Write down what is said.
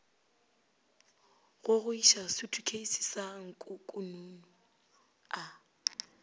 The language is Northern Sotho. gogoiša sutukheisi sa nkukununu a